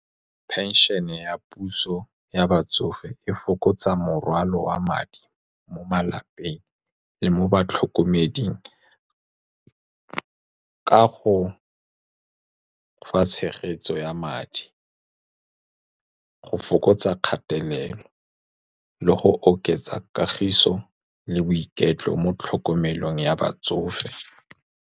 Phenšhene ya puso ya batsofe e fokotsa morwalo wa madi mo malapeng le mo batlhokomeding, ka go ba fa tshegetso ya madi go fokotsa kgatelelo le go oketsa kagiso le boiketlo mo tlhokomelong ya batsofe.